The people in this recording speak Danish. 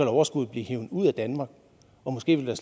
overskuddet blive hevet ud af danmark og måske ville